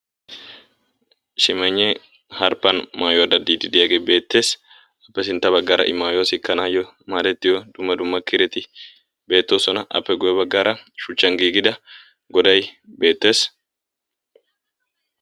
Shimaynne harippan maayuwa danddi diyage beettes. Appe sinttan baggaara i maayuwa sikkanaw maadetiyo dumma dumma kiretti beettoosona, appe guyye baggara shuchchan giigida goday beettees.